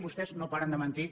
vostès no paren de mentir